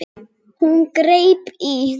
Hún greip í